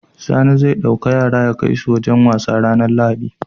Sani zai dauki yara yakai su wajan wasa ranar lahadi